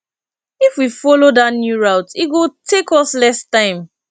if we follow that new route e go take us less time